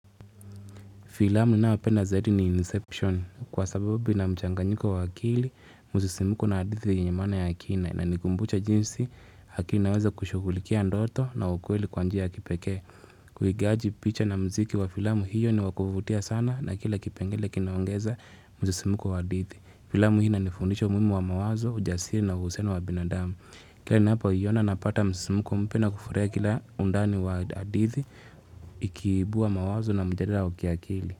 Filamu ninayopenda zaidi ni Inception kwa sababu ina mchanganyiko wa akili, msisimuko na hadithi yenye maana ya akina. Inanikumbusha jinsi, akili naweza kushughulikia ndoto na ukweli kwa njia ya kipeke. Uigaji picha na mziki wa filamu hiyo ni wakuvutia sana na kila kipengele kinaongeza msisimuko wa adithi. Filamu hii inanifundisha umuhimu wa mawazo, ujasiri na uhusiano wa binadamu. Kila ninapoiyona napata msisimuko mpya na kufurahia kila undani wa hadithi ikiibuwa mawazo na mjadala wa kiakili.